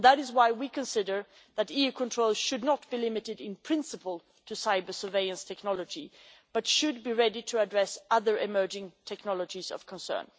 That is why we consider that EU control should not be limited in principle to cyber-surveillance technology, but should be ready to address other emerging technologies of concern.